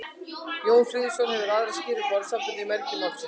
jón friðjónsson hefur aðra skýringu á orðasambandinu í mergi málsins